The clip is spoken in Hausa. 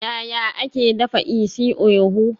Yaya ake dafa isi-ewu?